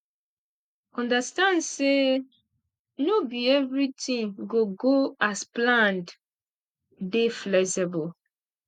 understand sey no be everything go go as planned dey flexible